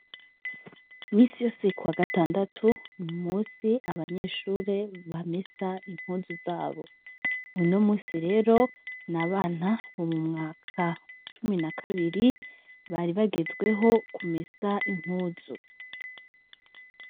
Misi yose ku wa gatandatu ni umusi abanyeshure ba mesa impuzu zabo uno musi rero ni abana bu mu mwaka cumi na kabiri bari bagezweho kumesa impuzu.